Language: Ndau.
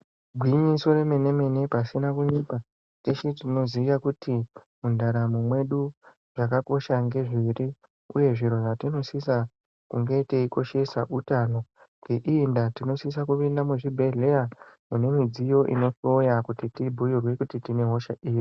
Gwinyiso yemene-mene pasina kunyepa teshe tinoziya kuti mundaramwo mwedu zvakakosha ngezviri uye zviro zvatinosisa kunge teikoshesa utano. Ngeiyi ndaa tinosise kupinda muzvibhedhleya mune midziyo inohloyiwa kuti tibhuirwe kuti tinehosha iri.